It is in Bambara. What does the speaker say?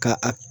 Ka a